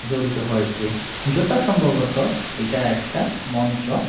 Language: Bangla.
জড়িত হয়েছে জুতা সম্ভবত এটা একটা মঞ্চ।